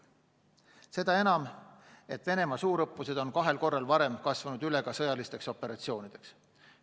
Seda enam, et Venemaa suurõppused on kahel korral kasvanud üle sõjalisteks operatsioonideks.